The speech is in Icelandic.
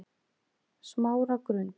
Smáragrund